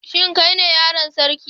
Shin kai ne yaron sarki?